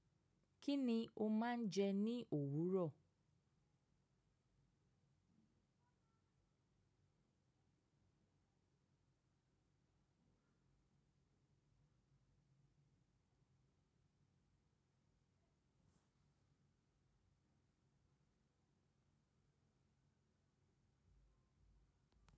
Kí ni o máa ń jẹ ní òwúrọ̀?